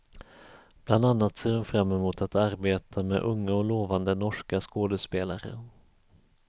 Bland annat ser hon fram emot att arbeta med unga och lovande norska skådespelare.